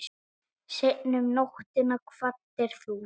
Seinna um nóttina kvaddir þú.